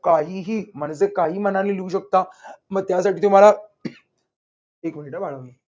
काहीही म्हणजे काहीही मनाने लिहू शकता म त्यासाठी तुम्हाला एक मिनिटं हा बाळांनो